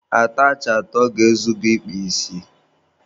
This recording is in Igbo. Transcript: Atachị atọ ga-ezu gị ịkpa isi.